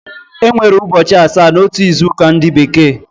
E nwere ụchọchi asaa n’otu izu ụka ndi bekee